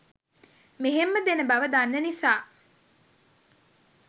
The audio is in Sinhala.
මෙහෙම්ම දෙන බව දන්න නිසා